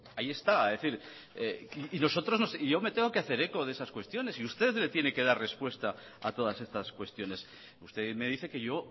ahí esta y yo me tengo que hacer eco de esas cuestiones y usted le tiene que dar respuesta a todas estas cuestiones usted me dice que yo